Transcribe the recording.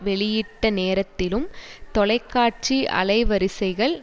வெளியிட்ட நேரத்திலும் தொலைக்காட்சி அலைவரிசைகள்